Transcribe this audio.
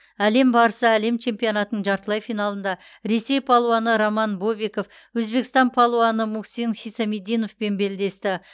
әлем барысы әлем чемпионатының жартылай финалында ресей палуаны роман бобиков өзбекстан палуаны мухсин хисамиддиновпен белдесті